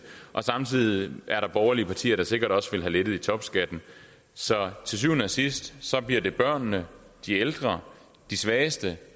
samtidig er der borgerlige partier der sikkert også vil have lettet i topskatten så til syvende og sidst bliver det børnene de ældre de svageste